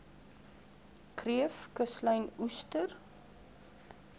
kreef kuslyn oester